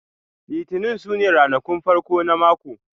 Litinin su ne ranakun farko na mako